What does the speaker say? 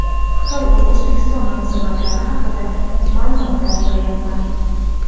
Xitoy va O‘zbekiston munosabatlari haqida ma’lumotlar yig‘yapman.